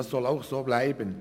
Das soll auch so bleiben.